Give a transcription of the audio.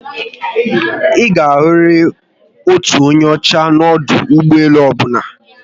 ịga ahụriri otu onye ọchá n'odu ụgbọelu ọbụla